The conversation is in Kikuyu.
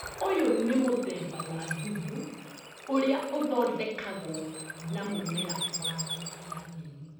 ũyũ nĩ mũthemba wa thumu ũrĩa ũthondekagwo na mũmera wa rangi ya nyeni.